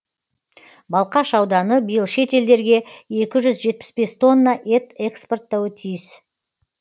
балқаш ауданы биыл шетелдерге екі жүз жетпіс бес тонна ет экспорттауы тиіс